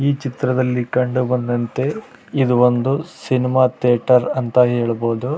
ಈ ಚಿತ್ರದಲ್ಲಿ ಕಂಡು ಬಂದಂತೆ ಇದು ಒಂದು ಸಿನೆಮಾ ಥಿಯೇಟರ್ ಅಂತ ಹೇಳಬಹದು